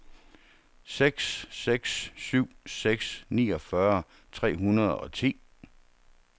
seks seks syv seks niogfyrre tre hundrede og ti